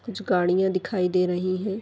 कुछ गाड़िया दिखाई दे रही है।